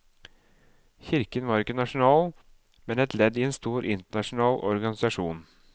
Kirken var ikke nasjonal, men et ledd i en stor internasjonal organisasjon.